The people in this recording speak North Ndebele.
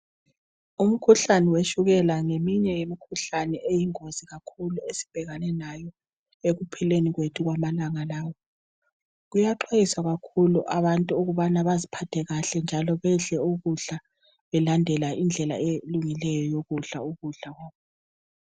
Umkhuhlane wetshukela ngeminye imikhuhlane eyingozi kakhulu esibhekane layo ekuphilweni kwethu kwamalanga lawa. Kuyaxwayiswa kakhulu abantu ukubana baziphathe kahle njalo bedle ukudla belandela indlela elungileyo eyokudla ukudla kwakhona.